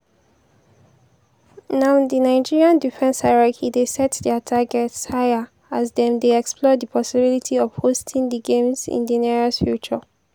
now di nigeria defence hierarchy dey set dia targets higher as dem dey explore di possibility of hosting di games in di nearest future.